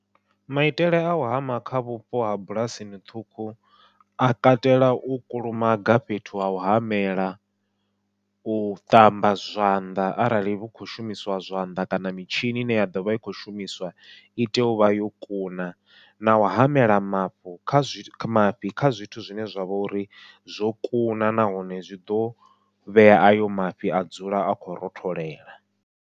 Maitele au hama kha vhupo ha bulasini ṱhukhu, a katela u kulumaga fhethu hau hamela u ṱamba zwanḓa arali hu khou shumiswa zwanḓa kana mitshini ine ya ḓovha i khou shumiswa i tea u vha yo kuna, nau hamela mafhu kha mafhi kha zwithu zwine zwavha uri zwo kuna nahone zwi ḓo vhea ayo mafhi a dzula a khou rotholela.